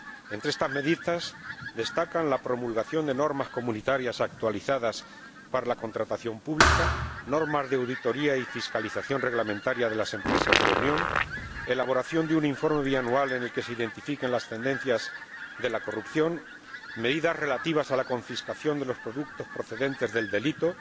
Entre estas medidas destacan la promulgación de normas comunitarias actualizadas para la contratación pública, normas de auditoría y fiscalización reglamentaria de las empresas de la Unión, elaboración de un informe bianual en el que se identifiquen las tendencias de la corrupción, medidas relativas a la confiscación de los productos procedentes del delito,